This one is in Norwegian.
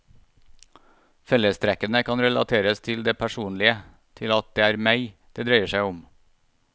Fellestrekkene kan relateres til det personlige, til at det er meg det dreier seg om.